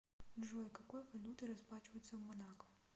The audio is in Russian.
джой какой валютой расплачиваются в монако